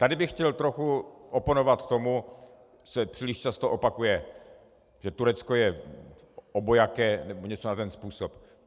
Tady bych chtěl trochu oponovat tomu, co se příliš často opakuje, že Turecko je obojaké nebo něco na ten způsob.